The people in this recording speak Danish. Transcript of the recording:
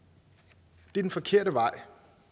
det er den forkerte vej